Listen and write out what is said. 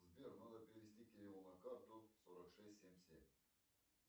сбер надо перевести кириллу на карту сорок шесть семь семь